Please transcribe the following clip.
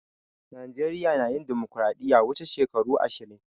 Najeriya na yin dimokiradiyya wuche shekaru ashirin.